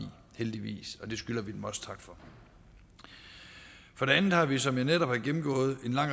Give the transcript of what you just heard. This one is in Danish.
heldigvis og det skylder vi dem også tak for for det andet har vi som jeg netop har gennemgået en lang